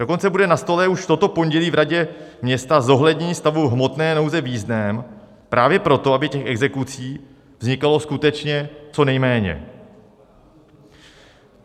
Dokonce bude na stole už toto pondělí v radě města zohlednění stavu hmotné nouze v jízdném právě proto, aby těch exekucí vznikalo skutečně co nejméně.